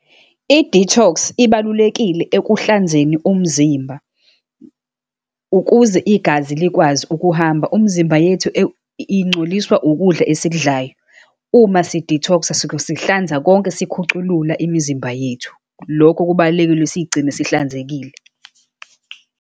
I-detox ibalulekile ekuhlanzeni umzimba, ukuze igazi likwazi ukuhamba. Umzimba yethu ingcoliswa ukudla esikudlayo. Uma si-detox-a suke sihlanza konke, sikhuculula imizimba yethu. Lokho kubalulekile siyigcine sihlanzekile.